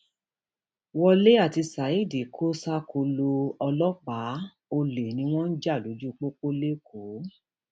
wọlé àti saheed kò ṣàkólò ọlọpàá ọlẹ ni wọn ń jà lójú pópó lẹkọọ